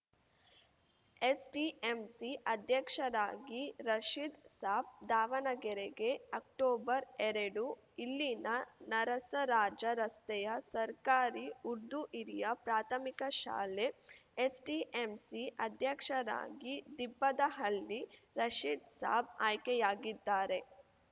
SDMC ಅಧ್ಯಕ್ಷರಾಗಿ ರಶೀದ್‌ ಸಾಬ್‌ ದಾವಣಗೆರೆಗೆ ಅಕ್ಟೊಬರ್ಎರಡು ಇಲ್ಲಿನ ನರಸರಾಜ ರಸ್ತೆಯ ಸರ್ಕಾರಿ ಉರ್ದು ಹಿರಿಯ ಪ್ರಾಥಮಿಕ ಶಾಲೆ ಎಸ್‌ಡಿಎಂಸಿ ಅಧ್ಯಕ್ಷರಾಗಿ ದಿಬ್ಬದಹಳ್ಳಿ ರಶೀದ್‌ ಸಾಬ್‌ ಆಯ್ಕೆಯಾಗಿದ್ದಾರೆ